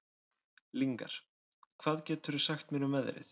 Lyngar, hvað geturðu sagt mér um veðrið?